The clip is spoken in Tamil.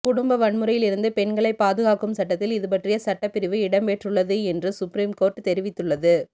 குடும்ப வன்முறையில் இருந்து பெண்களை பாதுகாக்கும் சட்டத்தில் இதுபற்றிய சட்டப்பிரிவு இடம்பெற்றுள்ளது என்று சுப்ரீம் கோர்ட் தெரிவித்துள்ளது